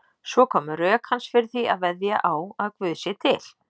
Svo koma rök hans fyrir því að veðja á að Guð sé til.